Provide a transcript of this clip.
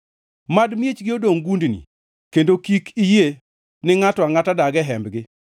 Mad miechgi dongʼ gundni; kendo kik iyie ne ngʼato angʼata dag e hembgi.